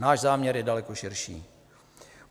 Náš záměr je daleko širší.